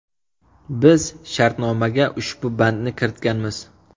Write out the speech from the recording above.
Biz shartnomaga ushbu bandni kiritganmiz.